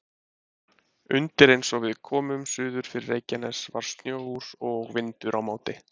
Undir eins og við komum suður fyrir Reykjanes var sjór og vindur á móti.